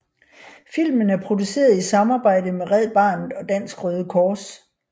Filmen er produceret i samarbejde med Red Barnet og Dansk Røde Kors